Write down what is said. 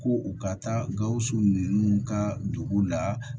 Ko u ka taa gawusu ninnu ka dugu la